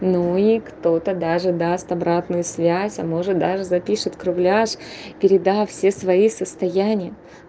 ну и кто-то даже даст обратную связь а может даже запишет кругляш передав все свои состояния